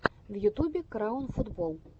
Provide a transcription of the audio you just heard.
в ютубе краун футбол